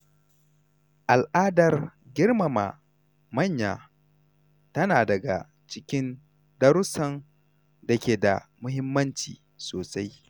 Al’adar girmama manya tana daga cikin darussan da ke da muhimmanci sosai.